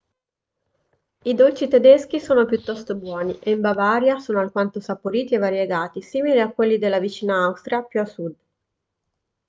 i dolci tedeschi sono piuttosto buoni e in bavaria sono alquanto saporiti e variegati simili a quelli della vicina austria più a sud